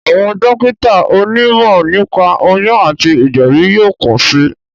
Àwọn dókítà oní mọ̀ nípa oyún àti ìgbèbí yóò pọ̀ sí